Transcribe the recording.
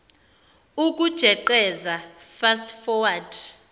ukujeqeza fast forward